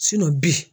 bi